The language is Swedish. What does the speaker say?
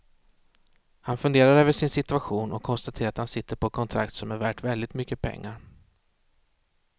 Han funderar över sin situation och konstaterar att han sitter på ett kontrakt som är värt väldigt mycket pengar.